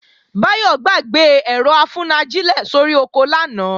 Báyọ̀ gbàgbé ẹ̀rọ-afúnajílẹ̀ sórí oko lánàá